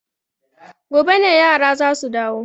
Gobe ne yara za su dawo.